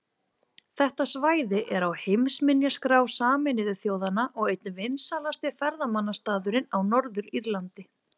Þetta svæði er á heimsminjaskrá Sameinuðu þjóðanna og einn vinsælasti ferðamannastaðurinn á Norður-Írlandi.